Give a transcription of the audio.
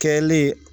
Kɛlen